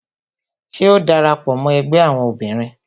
Ṣé o dara pọ mó ẹgbẹ́ àwọn obìnrin?